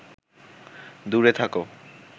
দূরে থাক